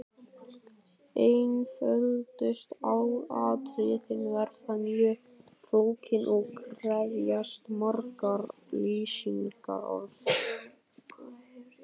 Einföldustu atriði verða mjög flókin og krefjast margra lýsingarorða.